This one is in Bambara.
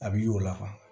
A bi y'o la